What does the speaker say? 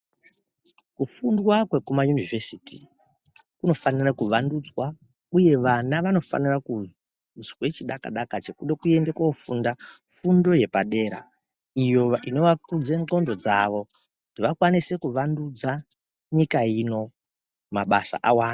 Kufundwa kwekuma univhesiti kunofana kuwandudzwa uye vana vanofana kuzwa chidaka daka chekuda Kuenda kofunda fundo yepadera iyo inovakudza nxondo dzawo ikwanise kuwandudza nyika ino mabasa awande.